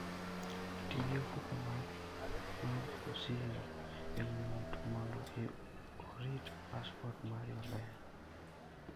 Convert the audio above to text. Ti gi ofuko mar osigo e ng'ut mondo orit passport mari maber.